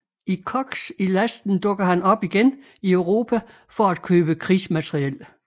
I Koks i lasten dukker han op igen i Europa for at købe krigsmateriel